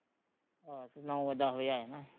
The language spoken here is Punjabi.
ਆਹੋ ਨੋਂ ਵਜੇ ਦੱਸ ਵਜੇ ਆ ਜਾਣਾ ਅਸੀਂ